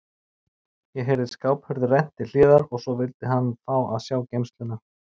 Ég heyrði skáphurð rennt til hliðar og svo vildi hann fá að sjá geymsluna.